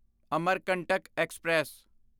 Amarkantak express